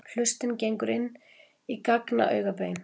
Hlustin gengur inn í gagnaugabein.